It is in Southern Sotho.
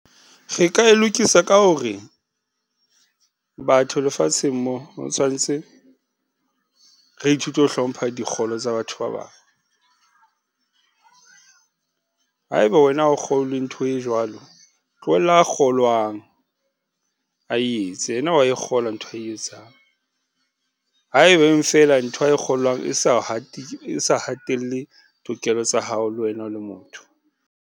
Re ka e lokisa ka ho re, batho lefatsheng mo ho tshwantse re ithute ho hlompha dikgolo tsa batho ba bang. Haeba wena ha o kgolwe ntho e jwalo, tlohella a kgolwang a e yetse yena wa e kgolwa ntho ae etsang haebeng fela ntho a e kgolwang e sa hatelle tokelo tsa hao le wena o le motho.